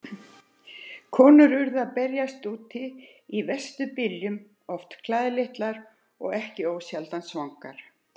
Konur urðu að berjast úti í verstu byljum, oft klæðlitlar og ekki ósjaldan svangar.